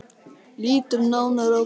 Lítum nánar á þetta.